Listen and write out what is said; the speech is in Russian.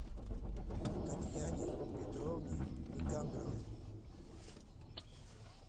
татьяне петровне никандровой